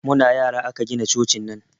Muna yara aka gina cocin nan